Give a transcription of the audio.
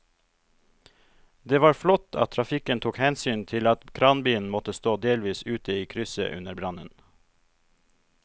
Det var flott at trafikken tok hensyn til at kranbilen måtte stå delvis ute i krysset under brannen.